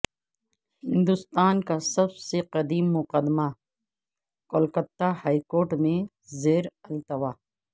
ہندوستان کا سب سے قدیم مقدمہ کولکتہ ہائیکورٹ میں زیر التوا